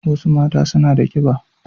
Wasu mata suna da ƙiɓa